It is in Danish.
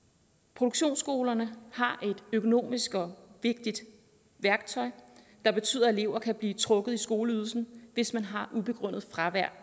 produktionsskolerne har et økonomisk og vigtigt værktøj der betyder at elever kan blive trukket i skoleydelsen hvis man har et ubegrundet fravær